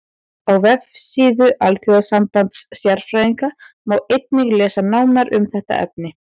Á vefsíðu Alþjóðasambands stjarnfræðinga má einnig lesa nánar um þetta efni.